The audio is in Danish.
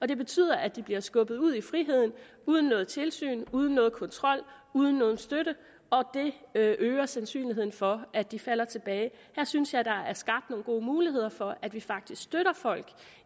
det betyder at de bliver skubbet ud i friheden uden noget tilsyn uden nogen kontrol uden nogen støtte og det øger sandsynligheden for at de falder tilbage her synes jeg der er skabt nogle gode muligheder for at vi faktisk støtter folk